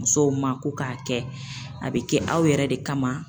Musow ma ko k'a kɛ a bɛ kɛ aw yɛrɛ de kama